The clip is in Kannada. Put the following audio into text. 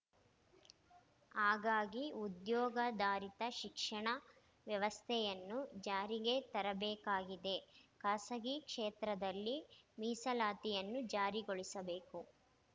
ಹಾಗಾಗಿ ಉದ್ಯೋಗಾಧಾರಿತ ಶಿಕ್ಷಣ ವ್ಯವಸ್ಥೆಯನ್ನು ಜಾರಿಗೆ ತರಬೇಕಾಗಿದೆ ಖಾಸಗಿ ಕ್ಷೇತ್ರದಲ್ಲಿ ಮೀಸಲಾತಿಯನ್ನು ಜಾರಿಗೊಳಿಸಬೇಕು